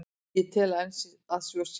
Ég tel enn að svo sé.